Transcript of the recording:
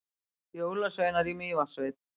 Jólasveinar í Mývatnssveit